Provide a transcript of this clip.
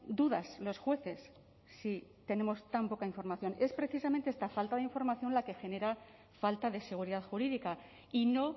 dudas los jueces si tenemos tan poca información es precisamente esta falta de información la que genera falta de seguridad jurídica y no